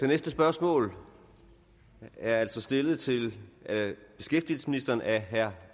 næste spørgsmål er altså stillet til beskæftigelsesministeren af herre